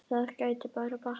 Það gæti bara batnað!